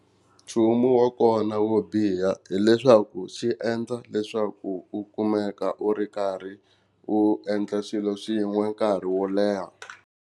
Nchumu wa kona wo biha hileswaku xi endla leswaku u kumeka u ri karhi u endla xilo xin'we nkarhi wo leha